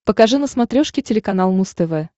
покажи на смотрешке телеканал муз тв